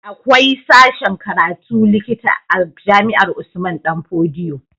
Akwai sashen karatun likita a jami'ar Usman danfodiyo